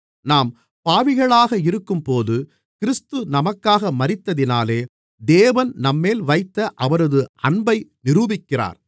நாம் பாவிகளாக இருக்கும்போது கிறிஸ்து நமக்காக மரித்ததினாலே தேவன் நம்மேல் வைத்த அவரது அன்பை நிரூபிக்கிறார்